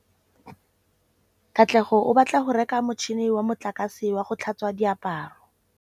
Katlego o batla go reka motšhine wa motlakase wa go tlhatswa diaparo.